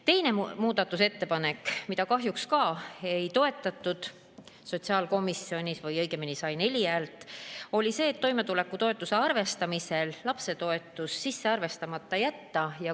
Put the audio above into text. Teine muudatusettepanek, mida kahjuks ka ei toetatud sotsiaalkomisjonis või see sai õigemini neli häält, oli see, et toimetulekutoetuse arvestamisel lapsetoetus arvestamata jätta.